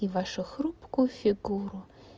и вашу хрупкую фигуру